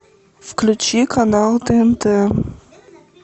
включи канал тнт